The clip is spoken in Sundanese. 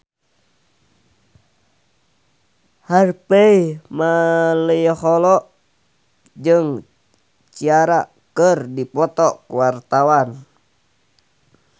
Harvey Malaiholo jeung Ciara keur dipoto ku wartawan